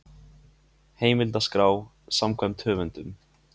Heimildaskrá samkvæmt höfundum.